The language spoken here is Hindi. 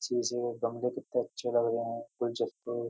गमले कितने अच्छे लग रहे हैं। गुलजस्तों --